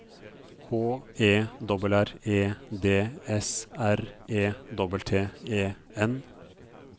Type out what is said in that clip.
H E R R E D S R E T T E N